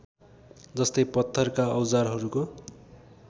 जस्तै पत्थरका औजारहरूको